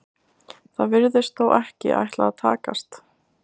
Það virðist þó ekki ætla að takast.